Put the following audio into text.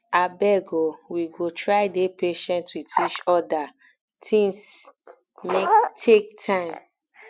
abeg o we go try dey patient wit each oda tins um take time